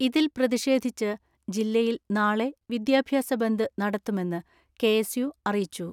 ഇതിൽ പ്രതിഷേധിച്ച് ജില്ലയിൽ നാളെ വിദ്യാഭ്യാസ ബന്ദ് നടത്തുമെന്ന് കെ എസ് യു അറിയിച്ചു.